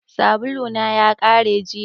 Sabulu na ya kare jiya.